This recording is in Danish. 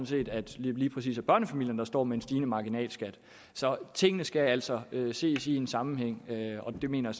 set at lige præcis børnefamilierne står med en stigende marginalskat så tingene skal altså ses i en sammenhæng og det mener